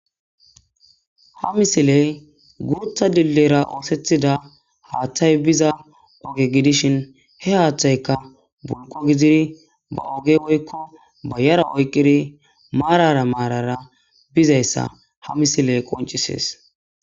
Ha misiley gurutha dillera oosethida haaththay biza oge gidishin he haaththayka bulqo gidiri ba oge oykko ba yara oyqiri maarara maarara bizayssa ha misiley qoncisees